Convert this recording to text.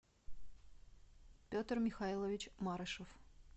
петр михайлович марышев